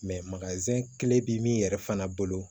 tile bɛ min yɛrɛ fana bolo